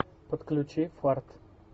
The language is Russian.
подключи фарт